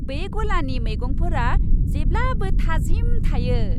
बे गलानि मैगंफोरा जेब्लाबो थाजिम थायो।